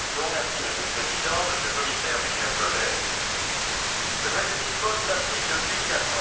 Monsieur le Président, Monsieur le Commissaire, chers collègues, le traité de Lisbonne s'applique depuis quatre ans.